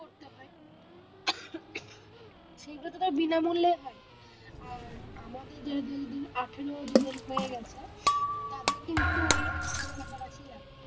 সেগুলো তো বিনামূল্যেই হয়, আর আমাদের যাদের যাদের আঠারো বছর হয়ে গেছে তাদের কিন্তু ওই একশো টাকা কাছাকাছিই লাগে।